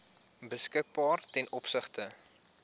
beskikbaar ten opsigte